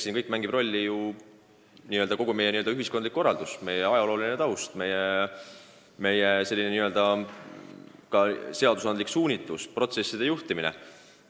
Siin mängib rolli kõik, kogu meie ühiskondlik elukorraldus, meie ajalooline taust, meie seadusandlik suunitlus, protsesside juhtimine.